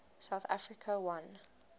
south africa won